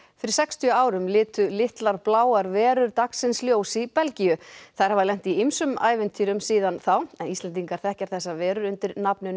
fyrir sextíu árum litu litlar bláar verur dagsins ljós í Belgíu þær hafa lent í ýmsum ævintýrum síðan þá Íslendingar þekkja þessar verur undir nafninu